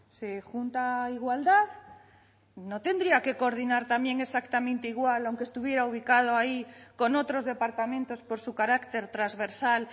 se junta igualdad no tendría que coordinar también exactamente igual aunque estuviera ubicado ahí con otros departamentos por su carácter transversal